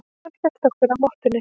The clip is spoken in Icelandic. Hann hélt okkur á mottunni.